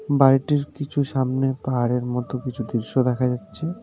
বাড়িটির কিছু সামনে পাহাড়ের মত কিছু দৃশ্য দেখা যাচ্ছে .